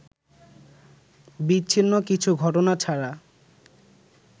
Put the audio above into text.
বিচ্ছিন্ন কিছু ঘটনা ছাড়া